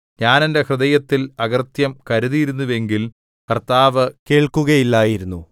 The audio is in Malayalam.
ഞാൻ എന്റെ ഹൃദയത്തിൽ അകൃത്യം കരുതിയിരുന്നുവെങ്കിൽ കർത്താവ് കേൾക്കുകയില്ലായിരുന്നു